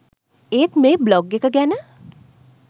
ඒත් මේ බ්ලොග් එක ගැන